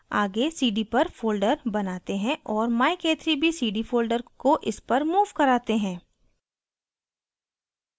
आगे cd पर folder बनाते हैं और myk3bcd folder को इस पर move कराते हैं